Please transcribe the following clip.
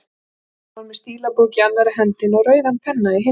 Hann var með stílabók í annarri hendinni og rauðan penna í hinni.